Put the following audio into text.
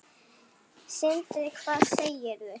Sindri: Hvað segirðu?